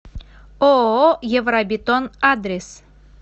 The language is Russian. ооо евробетон адрес